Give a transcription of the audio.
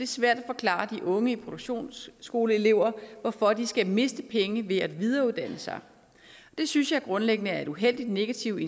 svært at forklare de unge produktionsskoleelever hvorfor de skal miste penge ved at videreuddanne sig det synes jeg grundlæggende er et uheldigt negativt